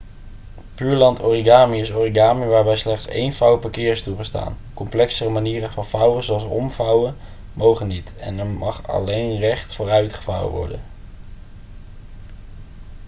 pureland origami is origami waarbij slechts één vouw per keer is toegestaan complexere manieren van vouwen zoals omvouwen mogen niet en er mag alleen recht vooruit gevouwen worden